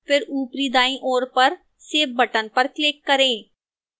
फिर ऊपरी दाईं ओर पर save button पर click करें